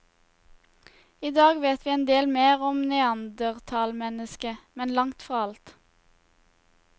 I dag vet vi en del mer om neandertalmennesket, men langt fra alt.